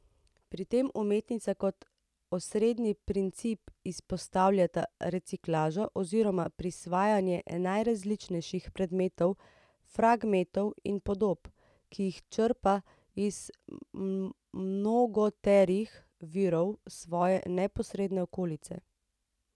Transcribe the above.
Pri tem umetnica kot osrednji princip izpostavljata reciklažo oziroma prisvajanje najrazličnejših predmetov, fragmentov in podob, ki jih črpa iz mnogoterih virov svoje neposredne okolice.